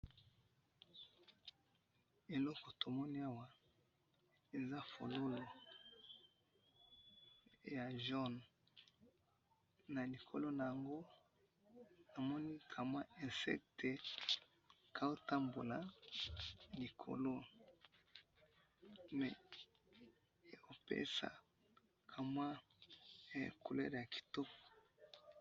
Eloko tomoni awa eza fololo ya jaune, na likolo na yango namoni ka mwa insecte kaotambola likolo mais epesa ka mwa couleur ya kitoko